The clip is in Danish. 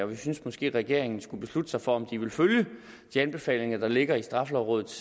vi synes måske at regeringen skulle beslutte sig for om de vil følge de anbefalinger der ligger i straffelovrådets